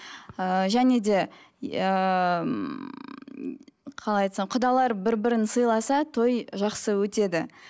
ыыы және де ііі қалай айтсам құдалар бір бірін сыйласа той жақсы өтеді